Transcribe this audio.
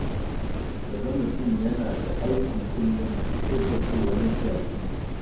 Ka ga mutum yana ta aiki kullum sai ka ce wani jaki.